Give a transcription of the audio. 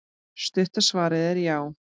Stutta svarið er já.